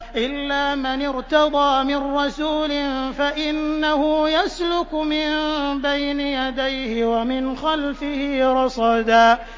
إِلَّا مَنِ ارْتَضَىٰ مِن رَّسُولٍ فَإِنَّهُ يَسْلُكُ مِن بَيْنِ يَدَيْهِ وَمِنْ خَلْفِهِ رَصَدًا